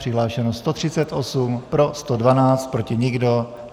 Přihlášeno 138. pro 112, proti nikdo.